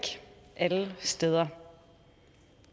alle steder